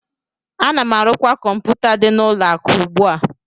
Ana m arụkwa kọmpụta dị n'ụlọ akụ ugbu a